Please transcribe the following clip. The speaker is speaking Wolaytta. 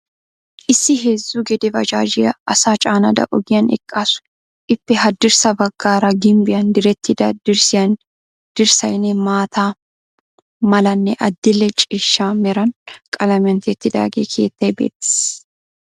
Issi heezzu gede bajaajiyaa, asaa caanada ogiyaan eqqaasu. ippe haddirssa baggaara ginbbiyan direttida dirssaynne maata malanne adi"lle ciishshaa meran qalamiyan tiyettida keettay beettees.